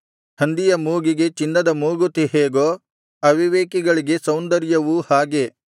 ಹಂದಿಯ ಮೂಗಿಗೆ ಚಿನ್ನದ ಮೂಗುತಿಯು ಹೇಗೋ ಅವಿವೇಕಳಿಗೆ ಸೌಂದರ್ಯವು ಹಾಗೆ